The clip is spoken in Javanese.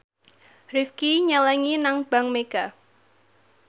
Rifqi nyelengi nang bank mega